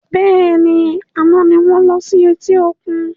Bẹ́ẹ̀ni, àná ni wọn lọ sí eti òkun